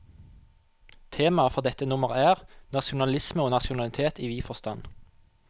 Temaet for dette nummer er, nasjonalisme og nasjonalitet i vid forstand.